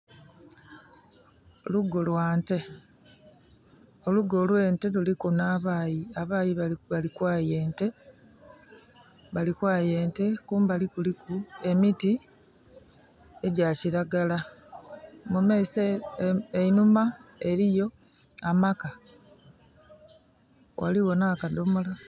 Lugo lwa nte. Olugo lw'ente luliku n'abaayi, abaayi bali kwaaya ente. Kumbali kuliku emiti egya kiragala. Enhuma eliyo amaka. Ghaligho n'akadhomola.